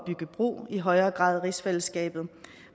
i højere grad rigsfællesskabet